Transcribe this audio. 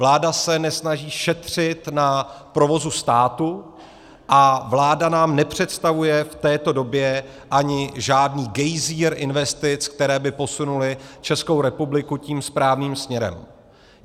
Vláda se nesnaží šetřit na provozu státu a vláda nám nepředstavuje v této době ani žádný gejzír investic, které by posunuly Českou republiku tím správným směrem.